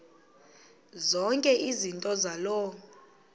zonke izinto zaloo